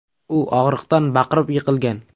U og‘riqdan baqirib, yiqilgan.